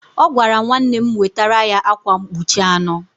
Ọ gwara nwanne m wetara ya akwa mkpuchi anọ